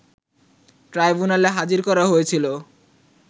ট্রাইবুনালে হাজির করা হয়েছিল